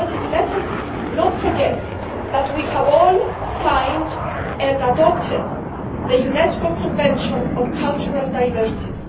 Let us not forget that we have all signed and adopted the UNESCO Convention on Cultural Diversity.